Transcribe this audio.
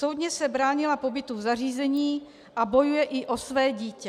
Soudně se bránila pobytu v zařízení a bojuje i o své dítě.